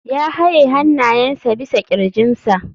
Ya haye hannayensa bisa kirjinsa.